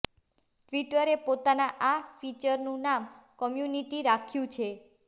ટ્વિટરે પોતાના આ ફીચરનું નામ કમ્યુનિટી રાખ્યુ છે